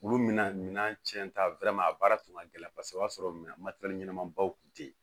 Olu mina minɛn cɛn ta a baara tun ka gɛlɛn kosɛbɛ o y'a sɔrɔ minɛn matɛrɛli ɲɛnama baw kun tɛ yen